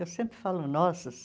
Eu sempre falo nossas.